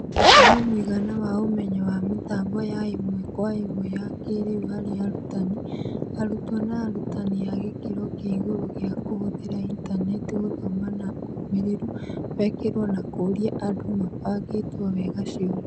Gũthima mũigana wa ũmenyo wa mĩtambo ya ĩmwe kwa ĩmwe ya kĩĩrĩu harĩ arutani, arutwo na arutani a gĩkĩro kĩa igũrũ gĩa kũhũthĩra intaneti gũthoma na ũmĩrĩru wekirũo na kũria andũ mabangĩtwo wega cioria.